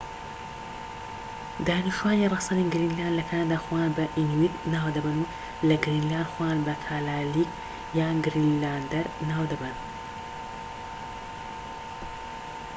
دانیشتوانی ڕەسەنی گرینلاند لە کەنەدا خۆیان بە ئینویت ناو دەبەن و لە گرینلاند خۆیان بە کالالێک یان گرینلاندەر ناو دەبەن